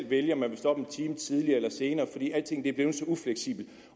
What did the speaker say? vælge om man vil stå op en time tidligere eller senere fordi alting er blevet så ufleksibelt